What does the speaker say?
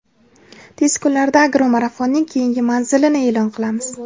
tez kunlarda "Agro marafon"ning keyingi manzilini e’lon qilamiz!.